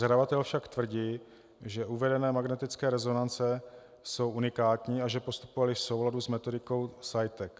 Zadavatel však tvrdí, že uvedené magnetické rezonance jsou unikátní a že postupovali v souladu s metodikou CEITEC.